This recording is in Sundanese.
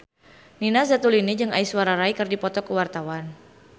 Nina Zatulini jeung Aishwarya Rai keur dipoto ku wartawan